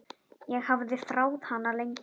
Ég hafði þráð hana lengi.